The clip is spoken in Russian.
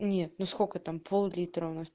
нет ну сколько там пол литра у нас